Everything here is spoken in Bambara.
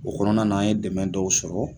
O kɔnɔna na an ye dɛmɛ dɔw sɔrɔ.